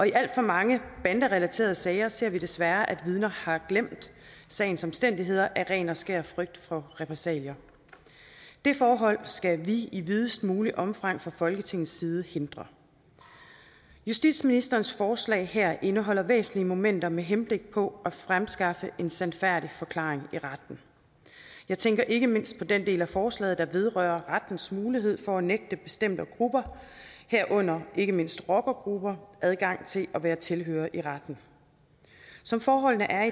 i alt for mange banderelaterede sager ser vi desværre at vidner har glemt sagens omstændigheder af ren og skær frygt for repressalier det forhold skal vi i videst muligt omfang fra folketingets side hindre justitsministerens forslag her indeholder væsentlige momenter med henblik på at fremskaffe en sandfærdig forklaring i retten jeg tænker ikke mindst på den del af forslaget der vedrører rettens mulighed for at nægte bestemte grupper herunder ikke mindst rockergrupper adgang til at være tilhørere i retten som forholdene er